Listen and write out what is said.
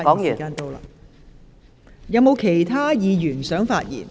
是否有其他議員想發言？